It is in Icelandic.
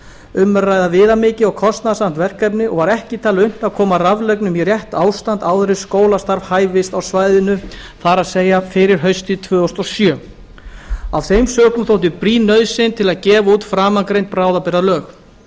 um er að ræða viðamikið og kostnaðarsamt verkefni og var ekki talið unnt að koma raflögnum í rétt ástand áður en skólastarf hæfist á svæðinu það er fyrir haustið tvö þúsund og sjö af þeim sökum þótti brýn nauðsyn til að gefa út framangreind bráðabirgðalög